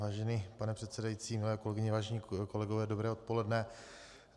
Vážený pane předsedající, milé kolegyně, vážení kolegové, dobré odpoledne.